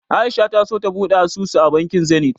A'isha ta so ta buɗe asusu a bankin Zenith.